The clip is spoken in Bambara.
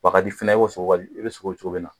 a ka di fana i ko sogo bɛ cogo min na